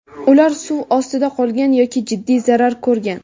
ular suv ostida qolgan yoki jiddiy zarar ko‘rgan.